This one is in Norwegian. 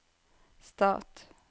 stat